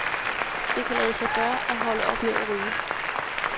Det kan lade sig gøre at holde op med at ryge.